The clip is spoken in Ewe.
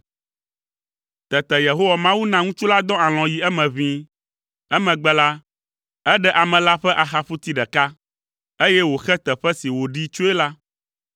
Tete Yehowa Mawu na ŋutsu la dɔ alɔ̃ yi eme ʋĩi. Emegbe la, eɖe ame la ƒe axaƒuti ɖeka, eye wòxe teƒe si wòɖee tsoe la.